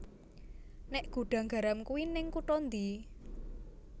Nek Gudang Garam kui ning kuto ndi?